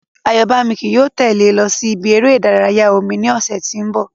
Àyọ́bámi ki yóò tẹ́lè ẹ lọ sí ibi eré ìdárayá omi ní ọ̀sẹ̀ tí ó ń bọ̀